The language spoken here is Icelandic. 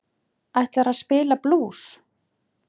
Ætlarðu að spila blús?